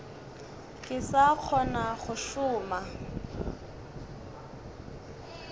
ke sa kgona go šoma